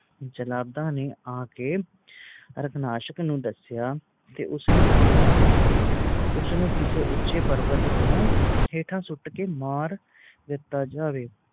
ਜਲਾਦਾਂ ਨੇ ਆਕੇ ਹਾਰਨਾਸ਼ਕ ਨੂੰ ਦਸਿਆ ਤੇ ਉਸ ਨੇ ਕਿਹਾ ਉਸ ਨੂੰ ਕਿਸੇ ਉਚੇ ਪ੍ਰਵਤ ਤੋਂ ਹੇਠਾਂ ਸੁੱਟ ਕ ਮਾਰ ਦਿੱਤੋ ਜਾਵੇ